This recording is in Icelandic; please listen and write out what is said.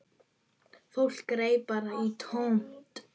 Fólk greip bara í tómt.